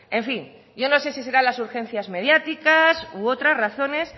en fin yo no sé si serán las urgencias mediáticas u otras razones